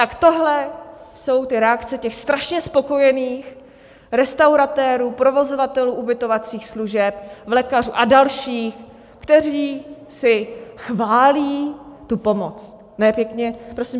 Tak tohle jsou ty reakce těch strašně spokojených restauratérů, provozovatelů ubytovacích služeb, vlekařů a dalších, kteří si chválí tu pomoc.